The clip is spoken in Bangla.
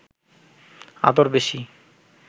আদর বেশি